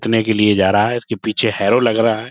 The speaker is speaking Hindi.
के लिए जा रहा है। उसके पीछे हेरो लग रहा है।